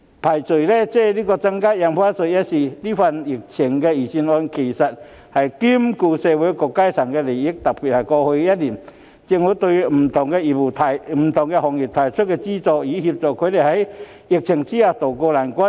撇開增加印花稅一事，這份針對疫情的預算案兼顧到社會各階層的利益，特別是過去一年，政府對不同行業提供資助，協助他們在疫情下渡過難關。